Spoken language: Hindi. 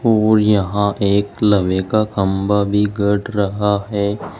और यहां एक लवे का खंभा भी गड़ रहा है।